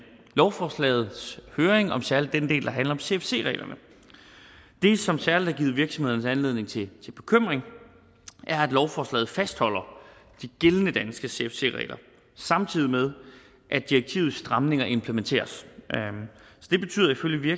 lovforslagets høring om særlig den del der handler om cfc reglerne det som særlig har givet virksomhederne anledning til bekymring er at lovforslaget fastholder de gældende danske cfc regler samtidig med at direktivets stramninger implementeres